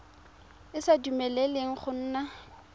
e sa dumeleleng go nna